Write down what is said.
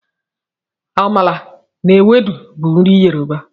Amala na ewedu bụ nri Yoruba.